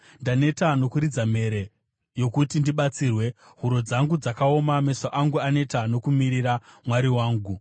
Ndaneta nokuridza mhere yokuti ndibatsirwe; huro dzangu dzaoma, meso angu aneta nokumirira Mwari wangu.